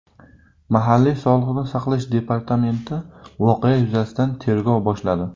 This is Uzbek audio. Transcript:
Mahalliy sog‘liqni saqlash departamenti voqea yuzasidan tergov boshladi.